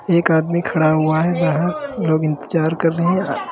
एक आदमी खड़ा हुआ है बाहर लोग इंतजार कर रहे हैं।